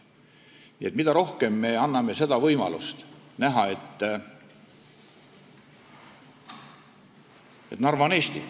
Nii et on vaja rohkem anda võimalust näha, et Narva on Eesti.